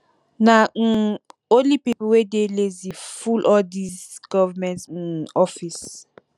na um only pipo wey dey lazy full all dese government um office